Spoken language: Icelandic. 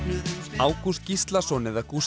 Ágúst Gíslason eða Gústi